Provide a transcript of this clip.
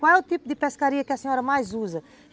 Qual é o tipo de pescaria que a senhora mais usa?